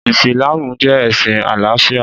Ìsìlámù jẹ́ ẹ̀sìn àlàáfíà